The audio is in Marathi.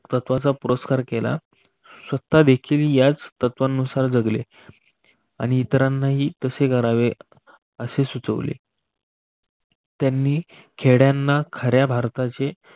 पुरस्कचा पुरस्कार केला. स्वतः देखील याच तत्त्वानुसार जगले आणि इतरांनाही तसे करावे असे सुचवले त्यानी खेड्यांना खऱ्या भारताचे